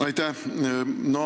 Aitäh!